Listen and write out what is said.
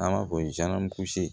An b'a fɔ